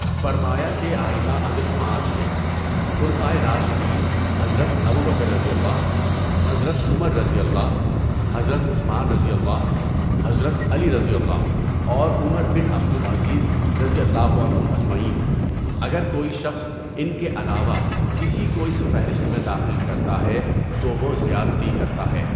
فرمایا کہ ائمۂ عدل پانچ ہیں، خلفائے راشدین حضرت ابوبکرؓ، حضرت عمرؓ، حضرت عثمانؓ، حضرت علیؓ اور عمر بن عبد العزیز رضی اللہ عنہم اجمعین۔ اگر کوئی شخص ان کے علاوہ کسی کو اس فہرست میں داخل کرتا ہے تووہ زیادتی کرتا ہے۔